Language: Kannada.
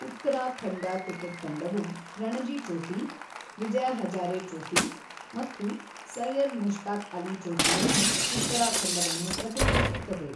ಉತ್ತರಾಖಂಡ ಕ್ರಿಕೆಟ್ ತಂಡವು ರಣಜಿ ಟ್ರೋಫಿ, ವಿಜಯ್ ಹಜಾರೆ ಟ್ರೋಫಿ ಮತ್ತು ಸೈಯದ್ ಮುಷ್ತಾಕ್ ಅಲಿ ಟ್ರೋಫಿಯಲ್ಲಿ ಉತ್ತರಾಖಂಡವನ್ನು ಪ್ರತಿನಿಧಿಸುತ್ತದೆ.